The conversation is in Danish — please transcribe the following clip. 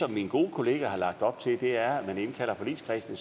det min gode kollega har lagt op til er at man indkalder forligskredsen